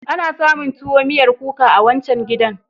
Ana samun tuwo miyar kuka a wancan gidan.